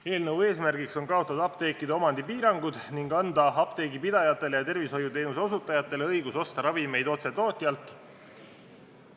Eelnõu eesmärk on kaotada apteekide omandipiirangud ning anda apteegipidajatele ja tervishoiuteenuse osutajatele õigus osta ravimeid otse tootjalt.